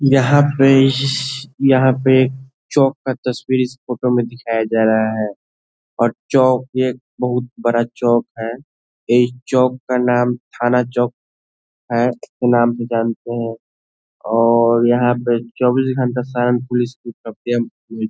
यहाँ पे इश्श यहाँ पे चौक का तस्वीर इस फोटो में दिखाया जा रहा है और चौक एक बहुत बड़ा चौक है एक चौक का नाम थाना चौक है नाम भी जानते हैं और यहाँ पे चौबीस घंटा सारण पुलिस --